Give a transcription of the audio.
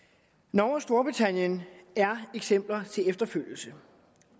norge og storbritannien er eksempler til efterfølgelse